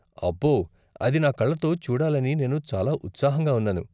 అబ్బో! అది నా కళ్ళతో చూడాలని నేను చాలా ఉత్సాహంగా ఉన్నాను.